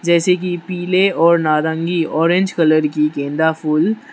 जैसे की पीले और नारंगी ऑरेंज कलर की गेंदा फूल --